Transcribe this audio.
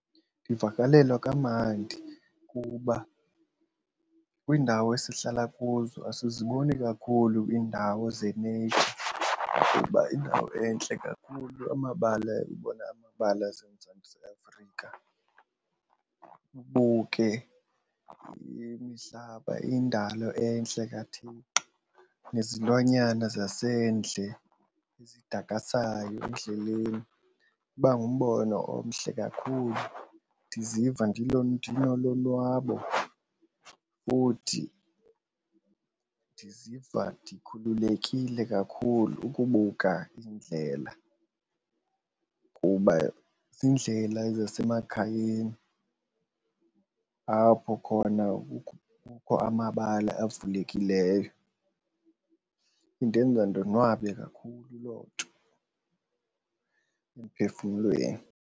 Ndivakalelwa kamandi kuba kwiindawo esihlala kuzo asiziboni kakhulu iindawo ze-nature kuba yindawo entle kakhulu amabala amabala aseMzantsi Afrika. Ubuke imihlaba indalo entle kaThixo nezilwanyana zasendle zidakasayo endleleni, iba ngumbono omhle kakhulu. Ndiziva ndinolonwabo futhi ndiziva ndikhululekile kakhulu ukubuka indlela kuba ziindlela zasemakhayeni apho khona kukho amabala avulekileyo. Indenza ndonwabe kakhulu loo nto emphefumlweni.